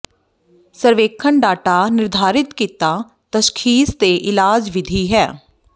ਸਰਵੇਖਣ ਡਾਟਾ ਨਿਰਧਾਰਤ ਕੀਤਾ ਤਸ਼ਖ਼ੀਸ ਅਤੇ ਇਲਾਜ ਵਿਧੀ ਹੈ